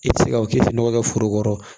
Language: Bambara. I tɛ se ka o k'i tɛ nɔgɔ kɛ foro kɔrɔ